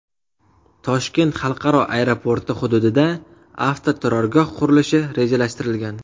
Toshkent xalqaro aeroporti hududida avtoturargoh qurilishi rejalashtirilgan.